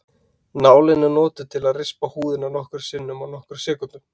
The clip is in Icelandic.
Nálin er notuð til að rispa húðina nokkrum sinnum á nokkrum sekúndum.